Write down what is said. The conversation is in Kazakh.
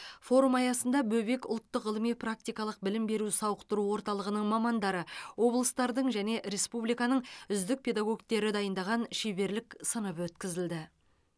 форум аясында бөбек ұлттық ғылыми практикалық білім беру сауықтыру орталығының мамандары облыстардың және республиканың үздік педагогтері дайындаған шеберлік сыныбы өткізілді